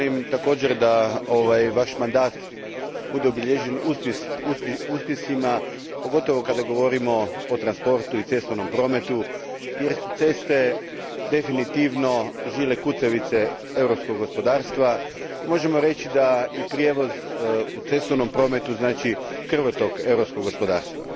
Također želim da vaš mandat bude obilježen uspjesima, pogotovo kad govorimo o transportu i cestovnom prometu, jer su ceste definitivno žile kucavice europskog gospodarstva i možemo reći da prijevoz u cestovnom prometu znači krvotok europskog gospodarstva.